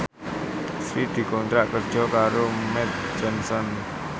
Sri dikontrak kerja karo Mead Johnson